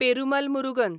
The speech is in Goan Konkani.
पेरुमल मुरुगन